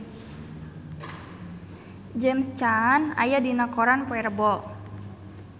James Caan aya dina koran poe Rebo